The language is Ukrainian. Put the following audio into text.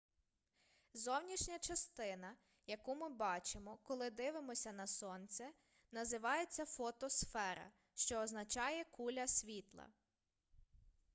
зовнішня частина яку ми бачимо коли дивимося на сонце називається фотосфера що означає куля світла